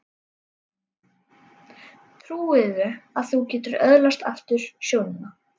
Trúirðu að þú getir öðlast aftur sjónina?